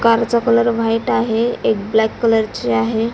Car चा colour white आहे एक ब्लॅक कलर ची आहे.